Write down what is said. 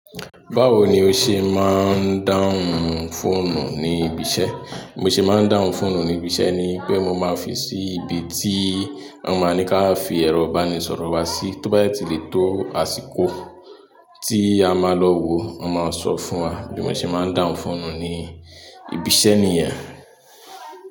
Báwo ni o se maa n dáhùn fóònù ni ibi iṣẹ́. Mo ṣe máa ń dáhùn fóònù ní ibi iṣẹ́ ni pé mo máa fi sí ibi tí wọ́n máa ń ní ká fi ẹ̀rọ ìbánisọ̀rọ̀ wa sí, tó bá yẹ ti lè tó àsìkò tí a máa lọ wò, wọ́n máa sọ fún wa. Bí mo ṣe máa ń dáhùn fóònù ní ibi iṣẹ́ nìyẹn.